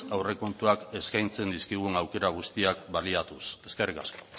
aurrekontuak eskaintzen dizkigun aukera guztiak baliatuz eskerrik asko